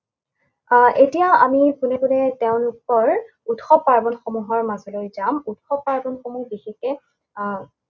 আহ এতিয়া আমি পোনে পোনে তেওঁলোকৰ উৎসৱ পাৰ্বণসমূহৰ মাজলৈ যাম। উৎসৱ পাৰ্বণসমূহ বিশেষকে আহ